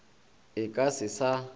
e ka se sa ba